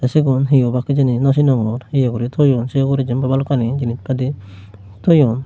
cigun he obak hejani nw cinogor eya gori toyoun sey uguray jiyenpai balokani jinish padi toyoun.